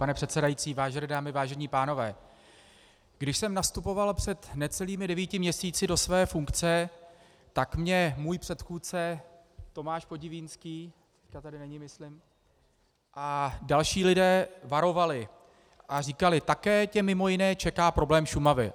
Pane předsedající, vážené dámy, vážení pánové, když jsem nastupoval před necelými devíti měsíci do své funkce, tak mě můj předchůdce Tomáš Podivínský, dneska tady není, myslím, a další lidé varovali a říkali, také tě mimo jiné čeká problém Šumavy.